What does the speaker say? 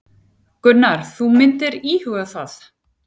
Gunnar: Þú myndir íhuga það?